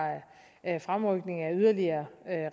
er fremrykning af yderligere